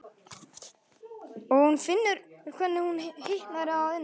Og hún finnur hvernig hún hitnar að innan.